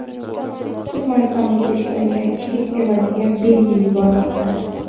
Turkmaniston O‘zbekistonga chigit evaziga benzin yubormoqda.